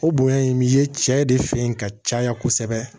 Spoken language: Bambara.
O bonya in bɛ ye cɛ de fen in ka caya kosɛbɛ